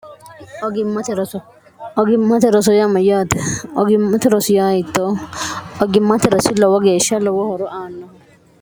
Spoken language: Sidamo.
ogimmate roso yaamayyaate ogimmate rosiyayitto ogimmate rosi lowo geeshsha lowo horo aanno